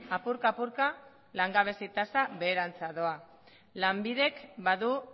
apurka apurka langabezia tasa beherantz doa lanbidek badu